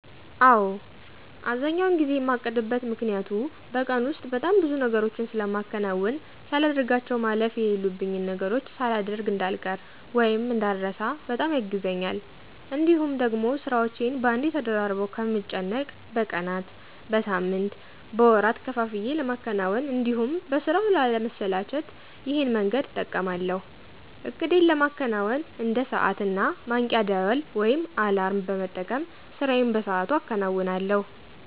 አዎ። አብዛኛውን ጊዜ የማቅድበት ምክኒያቱ በቀን ውስጥ በጣም ብዙ ነገሮችን ስለማከናውን ሳላደርጋቸው ማለፍ የለሉብኝን ነገሮች ሳላደሮግ እዳልቀር ( እንዳረሳ) በጣም ያግዘኛል። እንዲሁም ደግሞ ስራዎቼን በአንዴ ተደራርበው ከምጨነቅ በቀናት፣ በሳምንት፣ በወራት ከፋፍዬ ለማከናወን እንዲሁም በስራው ላለ መሰላቸት ይሄን መንገድ እጠቀማለሁ። እቅዴን ለማከናወን እንደ ሰዓት እና ማንቂያ ደውል (አላርም) በመጠቀም ስራዬን በሰአቱ አከናውነለሁ።